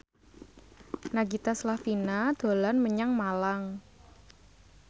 Nagita Slavina dolan menyang Malang